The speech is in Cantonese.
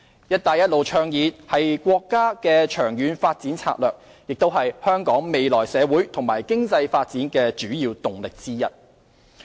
"一帶一路"倡議是國家的長遠發展策略，也是香港未來社會和經濟發展的主要動力之一。